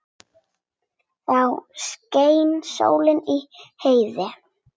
Þá skein sól í heiði.